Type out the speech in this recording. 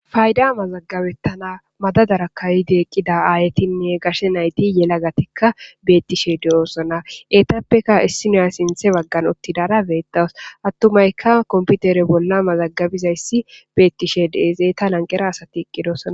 fayda mazagabettana madadara kayide eqqida aayetinne gashe nayti yelagatekka beettishe de7oossona etappeka issiniya sinthe baggan uttidara beettaws attumayka komputere bolla mazagabizayssi beettishe deezeeta lanqera asati eqqidosona.